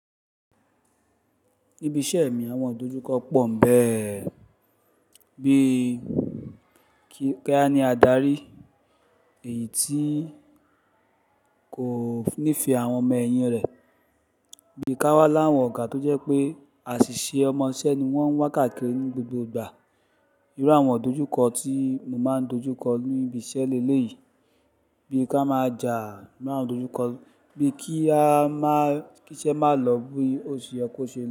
Níbi iṣẹ́ mi, àwọn ìdojúkọ pọ̀ń bẹ́ẹ̀. Bí kí a ní adarí èyí tí kò nífẹ̀ẹ́ àwọn ọmọ-ẹ̀yìn rẹ̀. Bí ka wà láwọn ọ̀gá tó jẹ́ pé àṣìṣe ọmọṣẹ́ ni wọ́n ń wà káàkiri ní gbogbo ìgbà. Irú àwọn ìdojúkọ tí mo máa ń dojú kọ ní ibi iṣẹ́ lé lé yìí. Bí ka máa jà, bí àwọn ìdojúkọ, bí kí a máa kí iṣẹ́ máa lọ bí òṣì ó ṣe lo.